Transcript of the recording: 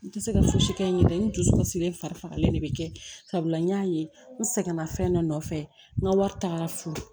N tɛ se ka fosi kɛ n yɛrɛ ye n dusukun sigilen fari fagalen de bɛ kɛ sabula n y'a ye n sɛgɛnna fɛn dɔ nɔfɛ n ka wari taara furu